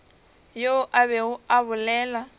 yo a bego a bolela